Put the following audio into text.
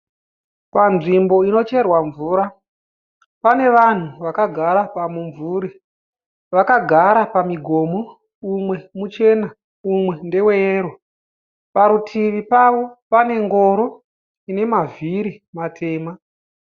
Panzvimbo inocherwa mvura, pane vanhu vakagara pamumvuri, vakagara pamigomo umwe muchena umwe ndeweyero. Parutivi pavo pane ngoro ine mavhiri matema.